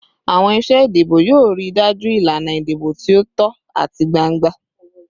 Awọn iṣe idibo yoo rii daju ilana idibo ti o tọ ati gbangba